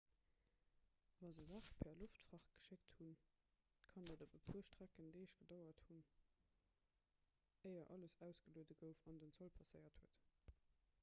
wa se saache per loftfracht geschéckt hunn kann et op e puer strecken deeg gedauert hunn éier alles ausgelueden gouf an den zoll passéiert huet